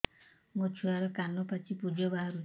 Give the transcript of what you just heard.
ମୋ ଛୁଆର କାନ ପାଚି ପୁଜ ବାହାରୁଛି